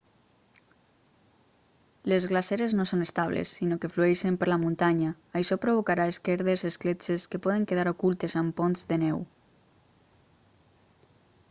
les glaceres no són estables sinó que flueixen per la muntanya això provocarà esquerdes escletxes que poden quedar ocultes amb ponts de neu